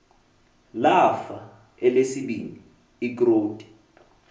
lafa elesibini ikroti